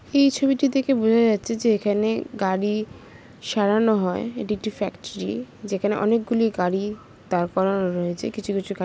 এই ছবিটি দেখে বোঝা যাচ্ছে যে এখানে গাড়ি সারানো হয় এটি একটি ফ্যাক্টরি । যেখানে অনেকগুলি গাড়ি দাঁড় করার রয়েছে। কিছু কিছু গা --